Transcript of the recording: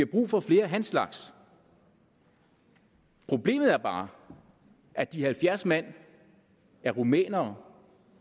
brug for flere af hans slags problemet er bare at de halvfjerds mand er rumænere